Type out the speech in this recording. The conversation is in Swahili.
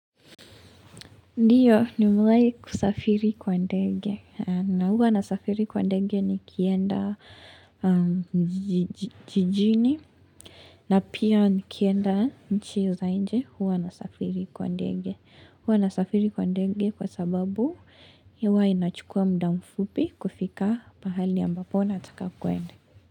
Ndiyo nimewahi kusafiri kwa ndege na huwa nasafiri kwa ndege nikienda jijini na pia nikienda nchi za nje huwa nasafiri kwa ndege. Huwa nasafiri kwa ndege kwa sababu huwa inachukua muda mfupi kufika pahali ambapo nataka kuenda.